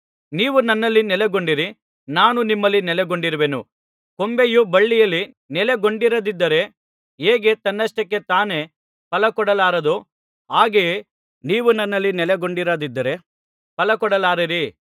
ನೀವು ನನ್ನಲ್ಲಿ ನೆಲೆಗೊಂಡಿರಿ ನಾನೂ ನಿಮ್ಮಲ್ಲಿ ನೆಲೆಗೊಂಡಿರುವೆನು ಕೊಂಬೆಯು ಬಳ್ಳಿಯಲ್ಲಿ ನೆಲೆಗೊಂಡಿರದಿದ್ದರೆ ಹೇಗೆ ತನ್ನಷ್ಟಕ್ಕೇ ತಾನೇ ಫಲಕೊಡಲಾರದೋ ಹಾಗೆಯೇ ನೀವು ನನ್ನಲ್ಲಿ ನೆಲೆಗೊಂಡಿರದಿದ್ದರೆ ಫಲಕೊಡಲಾರಿರಿ